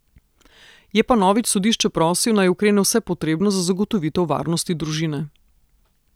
Je pa Novič sodišče prosil, naj ukrene vse potrebno za zagotovitev varnosti družine.